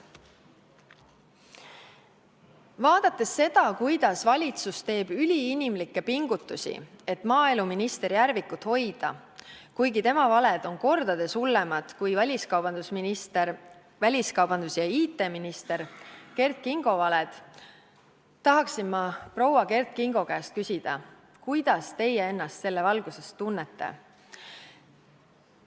Vaadates seda, kuidas valitsus teeb üliinimlikke pingutusi, et maaeluminister Järvikut ametis hoida, kuigi tema valed on mitu korda hullemad kui väliskaubandus- ja infotehnoloogiaminister Kert Kingo valed, tahaksin ma proua Kert Kingo käest küsida: kuidas teie ennast selles valguses tunnete?